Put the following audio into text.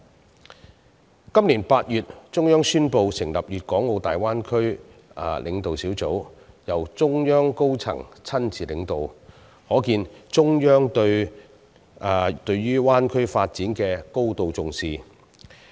中央於今年8月宣布成立粵港澳大灣區建設領導小組，由中央高層親自領導，可見中央對大灣區發展的高度重視。